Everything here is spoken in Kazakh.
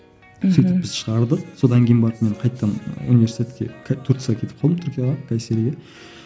мхм сөйтіп біз шығардық содан кейін барып мен қайтадан университетке турцияға кетіп қалдым түркияға кайсериге